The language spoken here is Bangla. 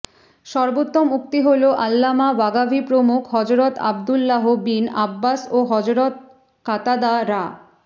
সর্বোত্তম উক্তি হলো আল্লামা বাগাভী প্রমুখ হযরত আব্দুল্লাহ বিন আব্বাস ও হযরত কাতাদা রা